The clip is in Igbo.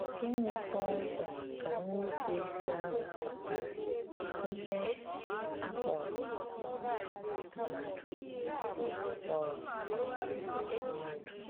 Gịnị kpọ́mkwem ka nnùpụ̀ísì àhụ̀ kpàtàrà íhè a kpọ̀rọ̀ um mmádụ̀? kpọ̀rọ̀ um mmádụ̀?